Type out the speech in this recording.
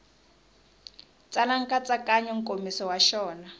tsala nkatsakanyo nkomiso wa xona